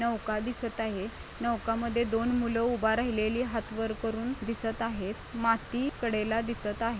नौका दिसत आहे नौका मधे दोन मुल उभा राहिलेली हाथ वर करून दिसत आहेत माती कडेला दिसत आहे.